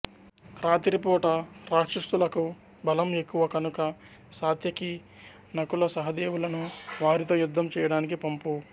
రాత్రి పూట రాక్షసులకు బలం ఎక్కువ కనుక సాత్యకి నకులసహదేవులను వారితో యుద్ధం చేయడానికి పంపు